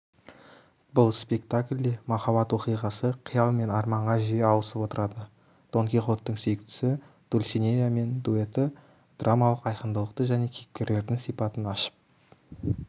бұл спектакльде махаббат оқиғасы қиял мен арманға жиі ауысып отырады дон кихоттың сүйіктісі дульсинеямен дуэті драмалық айқындылықты және кейіпкерлердің сипатын ашып